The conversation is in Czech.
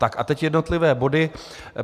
Tak a teď jednotlivé body.